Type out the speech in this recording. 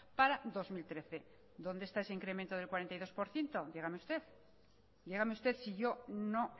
para dos mil trece dónde está ese incremento del cuarenta y dos por ciento dígame usted si yo no